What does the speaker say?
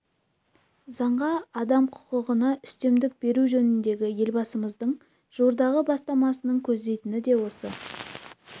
заңға адам құқығына үстемдік беру жөніндегі елбасымыздың жуырдағы бастамасының көздейтіні де осы